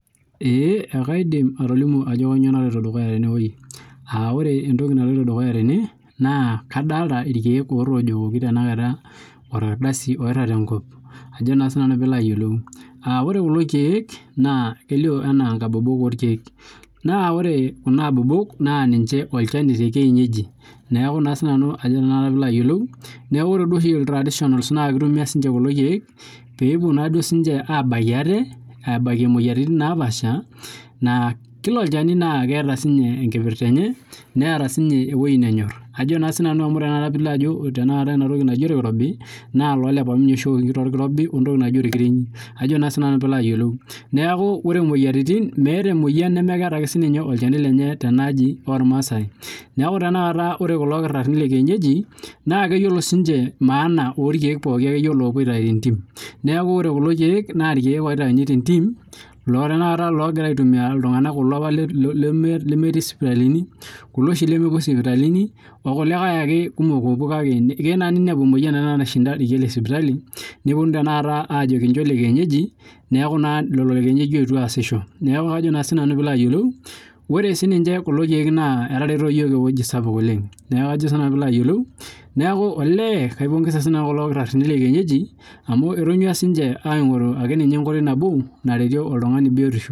Ekaidim atolimu entoki naloito dukuya tenewueji aa kadolita irkeek otojokoki orkardasi oiragita tenkop ore kulo keek naa kelio ena nkabobok orkeek naa ore Kuna abobok naa ninche olchani tee kienyeji neeku duo oshi iltradionals naa kitumia kulo keek pee epuo abakie atee abakie moyiaritin napashaa aa kila olchani netaa enkipirta enye netaa sininye ewueji nenyor amu ore pilo Ajo oloirobi naa oleparmjnye oshi ewoki wentoki naaji orkirenyi neeku ore moyiaritin meeta ake ene meeta olchani lenye Tena aji ormaasai neeku ore kula dakitarini lee kienyeji naa keyiolo siniche maana orkeek pookin lopuo aitau tentim neeku ore kule keek naa loopui atayu tee ntimi loopuo tanakata kulo tung'ana aitumia lemetii sipitalini okulikae ake kumok opuo keyieu ake ninepu emoyian nashinda irkeek lee sipitali nepuonunui tata Ajo kinjo irkeek lekienyeji neeku lelo lekienyeji oyetuo asisho ore siniche kulo keek etareto iyiok oleng neeku kaipongeza kulo dakitarini lee kienyeji amu etonyua aing'oru enkoitoi nabo naretie oltung'ani biotisho